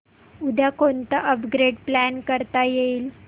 उद्या कोणतं upgrade plan करता येईल